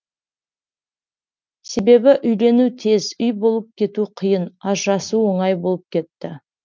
себебі үйлену тез үй болып кету қиын ажырасу оңай болып кетті